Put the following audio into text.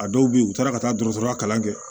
A dɔw bɛ yen u taara ka taa dɔgɔtɔrɔya kalan kɛ